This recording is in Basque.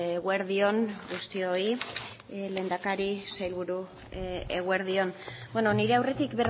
eguerdi on guztioi lehendakari sailburu eguerdi on nire aurretik